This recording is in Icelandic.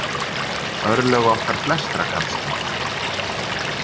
Örlög okkar flestra kannski.